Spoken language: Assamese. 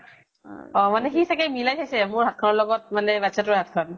অʼ সি মানে চাগে মিলাই চাইছে, মোৰ হাত খিনৰ লগত বাচ্ছা তোৰ হাত খন